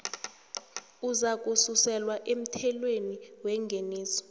uzakususelwa emthelweni wengeniso